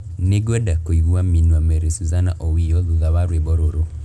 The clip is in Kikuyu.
Nĩngwenda kũigua minwa Mary Suzanna owiyo thutha wa rwĩmbo rũrũ